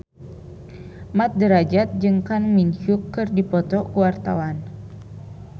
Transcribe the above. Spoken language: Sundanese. Mat Drajat jeung Kang Min Hyuk keur dipoto ku wartawan